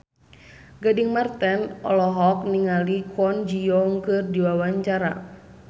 Gading Marten olohok ningali Kwon Ji Yong keur diwawancara